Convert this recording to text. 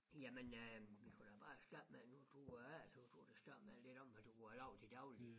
Jamen øh vi kunne da bare starte med nu du er A så kunne du da starte med lidt om hvad du har lavet til dagligt